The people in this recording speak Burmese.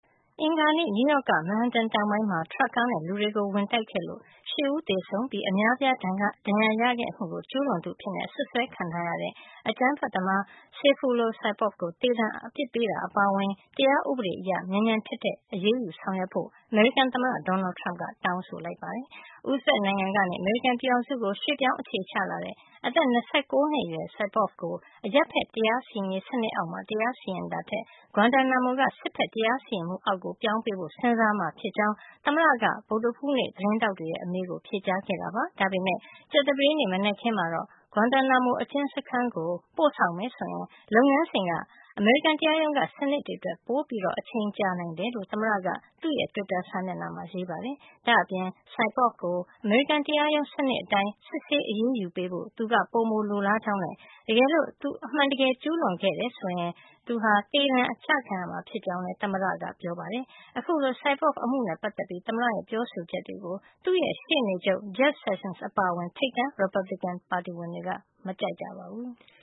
အင်္ဂါနေ့က နယူးယောက် က Manhattan တောင်ပိုင်းမှာ ထရပ်ကားနဲ့ လူတွေကို ဝင်တိုက်ခဲ့လို့ ၈ ဦးသေဆုံးပြီး အများအပြား ဒဏ်ရာရခဲ့မှုကို ကျူးလွန်သူအဖြစ် အစွပ်စွဲခံထားရတဲ့ အကြမ်းဖက်သမား Sayfullo Saipov ကို သေဒဏ် အပြစ်ပေးတာ အပါအဝင် တရားဥပဒေအရ မြန်မြန်ထက်ထက် အရေးယူ ဆောင်ရွက်ဖို့ အမေရိကန် သမ္မတ Donald Trump က တောင်းဆိုလိုက်ပါတယ်။ ဥဇဘက် နိုင်ငံကနေ အမေရိကန်ပြည်ထောင်စုကို ရွှေ့ပြောင်း အခြေချ လာတဲ့ အသက် ၂၉ နှစ်အရွယ် Saipov ကို အရပ်ဖက်တရားစီရင်ရေး စနစ်အောက်မှာ တရားစီရင်တာထက် Guantánamo က စစ်ဘက် တရားရေးစီရင်မှု အောက် ပြောင်းပေးဖို့ စဉ်းစားမှာ ဖြစ်ကြောင်း သမ္မတက ဗုဒ္ဓဟူးနေ့ သတင်းထောက်တွေရဲ့ အမေးကို ဖြေကြား ခဲ့ပါတယ်။ ဒါပေမယ့် ကြာသပတေးနေ့ မနက်ခင်းမှာတော့ Guantánamo အကျဉ်းစခန်းကို သူ့ကို ပို့မယ် ဆိုရင် လုပ်ငန်းစဉ်က အမေရိကန် တရားရုံး စနစ်တွေထက် အချိန်ပိုကြာနိုင်တယ်လို့ သမ္မတက သူ့ရဲ့ တွစ်တာ စာမျက်နှာမှာ ရေးပါတယ်။ ဒါ့အပြင် Saipov ကို အမေရိကန် တရားရုံးစနစ်အတိုင်း စစ်ဆေး အရေးယူဖို့ သမ္မတက ပိုလိုလားကြောင်းနဲ့ တကယ်လို့ သူ အမှန်တကယ် ကျူးလွန်ခဲ့တယ် ဆိုရင် သူဟာ သေဒဏ်အထိ ကျခံရမှာဖြစ်ကြောင်း သမ္မတက ပြောပါတယ်။ အခုလို Saipov အမှုနဲ့ ပတ်သက်ပြီး သမ္မတရဲ့ ပြောဆိုချက်တွေကို သူ့ရဲ့ ရှေ့နေချုပ် Jeff Sessions အပါအဝင် ထိပ်တန်း ရီပတ်ဘလစ်ကင် ပါတီဝင်တွေက မကြိုက်ကြပါဘူး။